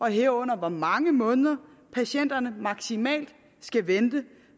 herunder hvor mange måneder patienterne maksimalt skal vente